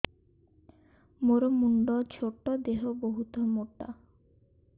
ମୋର ମୁଣ୍ଡ ଛୋଟ ଦେହ ବହୁତ ମୋଟା